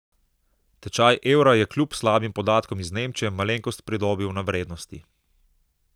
Tečaj evra je kljub slabim podatkom iz Nemčije malenkost pridobil na vrednosti.